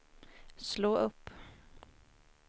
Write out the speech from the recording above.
slå upp